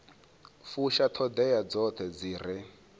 fusha ṱhoḓea dzoṱhe dzi re